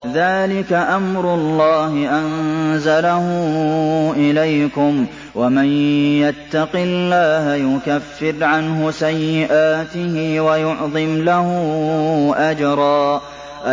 ذَٰلِكَ أَمْرُ اللَّهِ أَنزَلَهُ إِلَيْكُمْ ۚ وَمَن يَتَّقِ اللَّهَ يُكَفِّرْ عَنْهُ سَيِّئَاتِهِ وَيُعْظِمْ لَهُ أَجْرًا